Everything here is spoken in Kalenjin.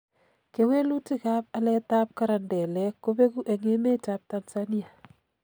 Kewelutikap aletap karandelek kopeku eng' emetap Tanzania?